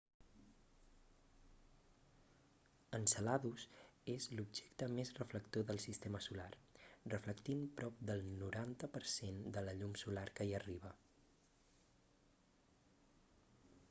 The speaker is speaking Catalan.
enceladus és l'objecte més reflector del sistema solar reflectint prop del 90 per cent de la llum solar que hi arriba